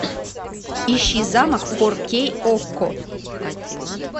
ищи замок фор кей окко